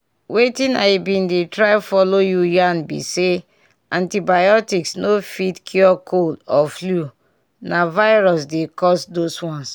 wetin i been dey try follow you yarn be say antibiotics no fit cure cold or flu na virus dey cause those ones.